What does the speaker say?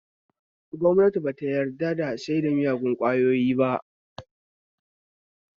Gwamnati ba ta yarda da saida miyagon ƙwayoyi ba